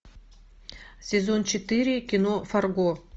сезон четыре кино фарго